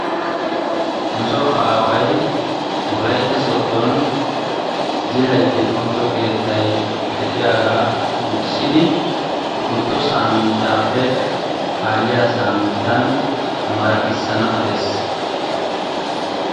Nusoo away wolaytta sooddon zilaytti doommiddo keettay de'iyagaa wurssidi wontto samminttaappe kaaliyaa samminttan maraqissanawu dee's.